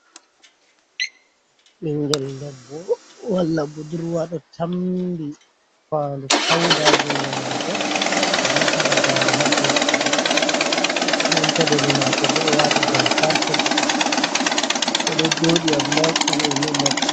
Ɓinngel debbo walla budurwa ɗo tammbi faandu pawda junngo maako ɗo halagaare haa junngo maako, nden peɗeeli maako boo ɗo waati jamfarshe boɗeejum o ɗo joodi Allah anndi ko o numata.